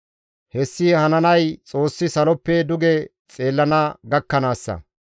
Hessi hananay Xoossi saloppe duge xeellana gakkanaassa.